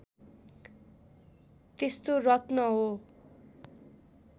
त्यस्तो रत्न हो